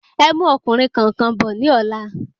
Ẹmú ọkùnrin kọ̀ọ̀kan bò ní ọ̀la